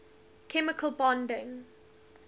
chemical bonding